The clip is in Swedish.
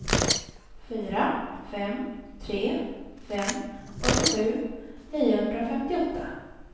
fyra fem tre fem åttiosju niohundrafemtioåtta